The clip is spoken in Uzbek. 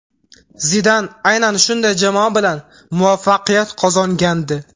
Zidan aynan shunday jamoa bilan muvaffaqiyat qozongandi.